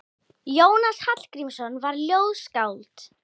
Jónas Hallgrímsson var ljóðskáld.